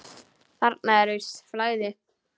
Þarna er visst flæði.